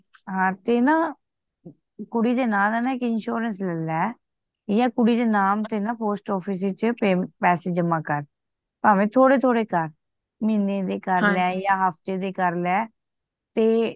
ਹਾਂ ਤੇ ਨਾ ਕੁੜੀ ਦੇ ਨਾਂ ਤੇ ਨਾ ਇੱਕ insurance ਲੈ ਯਾਂ ਕੁੜੀ ਦੇ ਨਾਮ ਤੇ ਨਾ post office ਚ ਪੈਸੇ ਜਮਾ ਕਰ ਭਾਵੇਂ ਥੋੜੇ ਥੋੜੇ ਕਰ ਮਹੀਨੇ ਦੇ ਕਰ ਲੈ ਤੇ ਯਾ ਹਫ਼ਤੇ ਦੇ ਕਰ ਲੈ ਤੇ